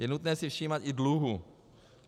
Je nutné si všímat i dluhu.